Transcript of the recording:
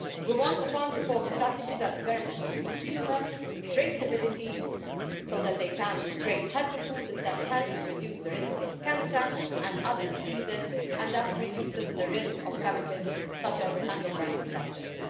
We want a Farm to Fork strategy that guarantees consumers traceability so that they can trace healthy food that helps reduce the risk of cancer and other diseases and that reduces the risk of chemicals such as endocrine disruptors.